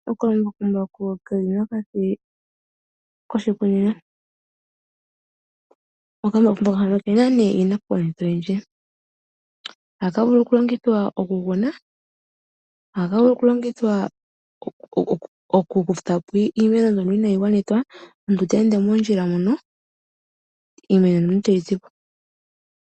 Okambakumbaku ke li mokati koshikunino. Okambakumbaku haka oke na iinakugwanithwa oyindji. Ohaka vulu okulongithwa okukuna, ohaka vulu okulongithwa okukutha po iimeno mbyoka inaayi gwanithwa, omuntu ta ende moondjila mono, iimeno e tayi zi po.